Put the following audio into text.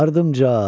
ardımca!